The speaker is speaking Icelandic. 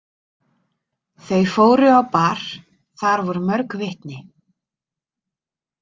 Þau fóru á bar, þar voru mörg vitni.